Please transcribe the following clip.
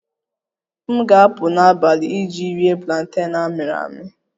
M ga-apụ n'abalị iji rie planten amịrị amị